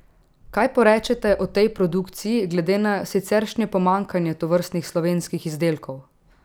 Kaj porečete o tej produkciji glede na siceršnje pomanjkanje tovrstnih slovenskih izdelkov?